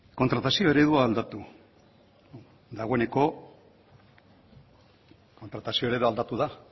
kontratazio eredua aldatu dagoeneko kontratazio eredua aldatu da